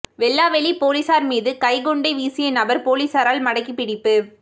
வெல்லாவெளிப் பொலிஸார் மீது கைக்குண்டை வீசிய நபர் பொலிஸாரால் மடக்கிப் பிடிப்பு